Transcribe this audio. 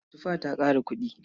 Tufa ta ƙara kuɗi.